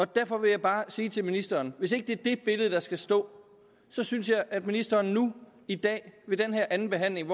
derfor vil jeg bare sige til ministeren hvis ikke det er det billede der skal stå synes jeg at ministeren nu i dag ved den her andenbehandling